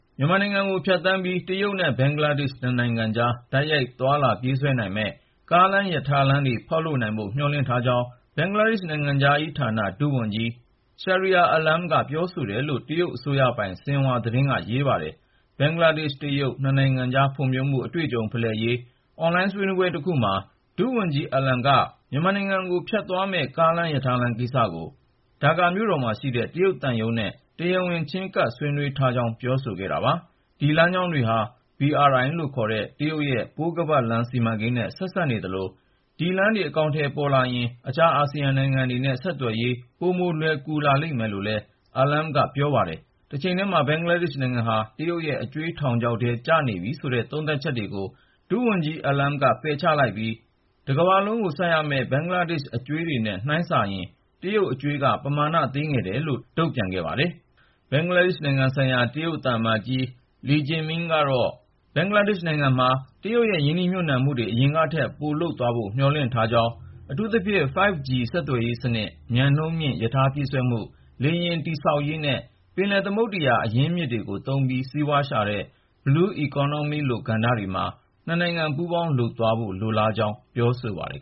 မြန်မာနိုင်ငံကို ဖြတ်သန်းပြီး တရုတ်နဲ့ ဘင်္ဂလားဒေ့ရှ် နှစ်နိုင်ငံကြား တိုက်ရိုက် သွားလာပြေးဆွဲနိုင်မယ့် ကားလမ်း၊ ရထားလမ်းတွေ ဖောက်လုပ်နိုင်ဖို့ မျှော်လင့်ထားကြောင်း ဘင်္ဂလားဒေ့ရှ် နိုင်ငံခြားရေးဌာန ဒုဝန်ကြီး Shahriar Alam က ပြောတယ်လို့ တရုတ်အစိုးရပိုင် ဆင်ဟွာသတင်းက ရေးပါတယ်။ ဘင်္ဂလားဒေ့ရှ်-တရုတ် နှစ်နိုင်ငံကြား ဖွံ့ဖြိုးမှု အတွေ့အကြုံဖလှယ်ရေး အွန်လိုင်း ဆွေးနွေးပွဲတခုမှာ ဒုဝန်ကြီး Shahriar Alam က မြန်မာနိုင်ငံကို ဖြတ်သွားမယ့် ကားလမ်း၊ ရထားလမ်းကိစ္စကို ဒါကာမြို့တော်မှာရှိတဲ့ တရုတ်သံရုံးနဲ့ တရားဝင် ချဉ်းကပ် ဆွေးနွေးထားကြောင်း ပြောဆိုခဲ့တာပါ။ ဒီလမ်းကြောင်းတွေဟာ BRI ခေါ် တရုတ်ရဲ့ ပိုးခါးပတ်လမ်း စီမံကိန်းနဲ့ ဆက်စပ်နေသလို ဒီလမ်းတွေ အကောင်အထည်ပေါ်လာရင် အခြား အာဆီယံနိုင်ငံတွေနဲ့ ဆက်သွယ်ရေး ပိုလွယ်ကူလာမယ်လို့လည်း Alam က ပြောပါတယ်။ တချိန်တည်းမှာ ဘင်္ဂလားဒေ့ရှ်နိုင်ငံဟာ တရုတ်ရဲ့ အကြွေးထောင်ချောက်ထဲ ကျနေပြီဆိုတဲ့ သုံးသပ်ချက်တွေကို ဒုဝန်ကြီး Alam က ငြင်းဆိုလိုက်ပြီး တကမ္ဘာလုံးကို ဆပ်ရမယ့် ဘင်္ဂလားဒေ့ရှ်အကြွေးတွေနဲ့ နှိုင်းစာရင် တရုတ်အကြွေးက ပမာဏသေးငယ်တယ်လို့ တုံ့ပြန်ခဲ့ပါတယ်။ ဘင်္ဂလားဒေ့ရှ်နိုင်ငံဆိုင်ရာ တရုတ်သံအမတ်ကြီး Li Jiming ကတော့ ဘင်္ဂလားဒေ့ရှ်နိုင်ငံမှာ တရုတ်ရဲ့ ရင်းနှီးမြှုပ်နှံမှုတွေ အရင်ကထက် ပိုလုပ်သွားဖို့ မျှော်လင့်ထားပြီး အထူးသဖြင့် 5G ဆက်သွယ်ရေးစနစ်၊ မြန်နှုန်းမြင့် ရထားပြေးဆွဲမှု၊ လေယာဉ်တည်ဆောက်ရေးနဲ့ ပင်လယ်သမုဒ္ဒရာ အရင်းမြစ်တွေကို သုံးပြီး စီးပွားရှာတဲ့ Blue Economy လို ကဏ္ဍတွေမှာ နှစ်နိုင်ငံ ပူးပေါင်းလုပ်သွားဖို့ လိုလားကြောင်း ပြောပါတယ်